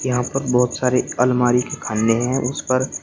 यहां पर बहुत सारी अलमारी के खाने हैं उस पर --